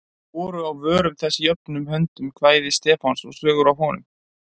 Voru á vörum þess jöfnum höndum kvæði Stefáns og sögur af honum.